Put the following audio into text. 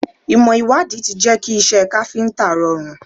Ìmò ìwádìí ti jẹ́ kí iṣẹ́ káfíntà rọrùn.